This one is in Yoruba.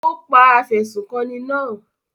Ó pa afẹ̀sùnkanni náà?